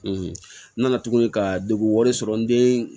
n nana tuguni ka degun wɛrɛ sɔrɔ n den